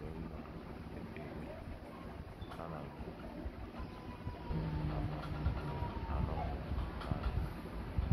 Mgbe m na - ekpe ekpere, ana m m ama na anọghị m nanị m.